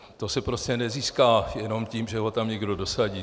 To se prostě nezíská jenom tím, že ho tam někdo dosadí.